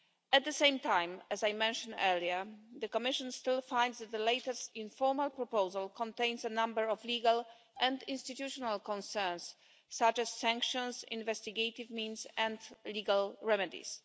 At the same time, as I mentioned earlier, the Commission still finds that the latest informal proposal contains a number of legal and institutional concerns, such as sanctions, investigative means and legal remedies.